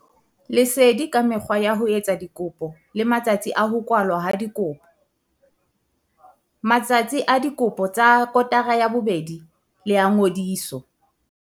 Lesedi ka mekgwa ya ho etsa dikopo le matsatsi a ho kwalwa ha dikopo. Matsatsi a dikopo tsa kotara ya bobedi le a ngodiso.